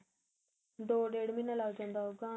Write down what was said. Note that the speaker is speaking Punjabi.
ਦੋ ਡੇਡ ਮਹੀਨੇ ਲੱਗ ਜਾਂਦਾ ਹੋਊਗਾ ਹੈਨਾ